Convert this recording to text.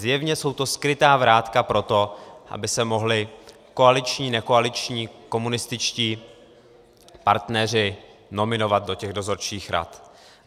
Zjevně jsou to skrytá vrátka pro to, aby se mohli koaliční-nekoaliční komunističtí partneři nominovat do těch dozorčích rad.